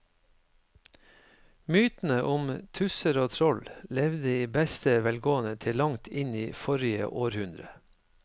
Mytene om tusser og troll levde i beste velgående til langt inn i forrige århundre.